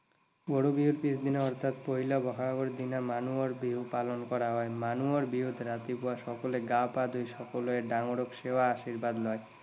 গৰু বিহুৰ পিছদিনা অৰ্থাৎ পহিলা বহাগৰ দিনা মানুহৰ বিহু পালন কৰা হয়। মানুহৰ বিহুত ৰাতিপুৱা সকলোৱে গা পা ধুই সকলোৱে ডাঙৰৰ সেৱা আশীৰ্বাদ লয়।